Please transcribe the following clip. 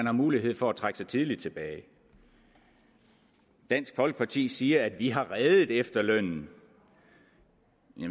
har mulighed for at trække sig tidligt tilbage dansk folkeparti siger at de har reddet efterlønnen